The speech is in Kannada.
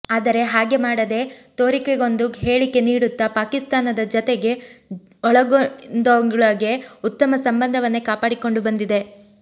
ಆದರೆ ಹಾಗೆ ಮಾಡದೆ ತೋರಿಕೆಗೊಂದು ಹೇಳಿಕೆ ನೀಡುತ್ತಾ ಪಾಕಿಸ್ತಾನದ ಜತೆಗೆ ಒಳಗಿಂದೊಳೆಗೆ ಉತ್ತಮ ಸಂಬಂಧವನ್ನೇ ಕಾಪಾಡಿಕೊಂಡು ಬಂದಿದೆ